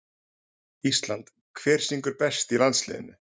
Ísland Hver syngur best í landsliðinu?